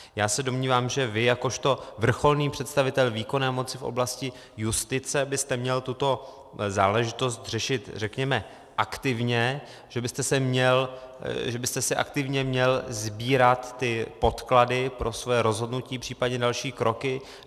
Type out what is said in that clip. Já se domnívám, že vy jakožto vrcholný představitel výkonné moci v oblasti justice byste měl tuto záležitost řešit řekněme aktivně, že byste si aktivně měl sbírat ty podklady pro své rozhodnutí, případně další kroky.